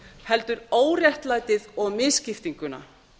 heldur óréttlætið og misskiptinguna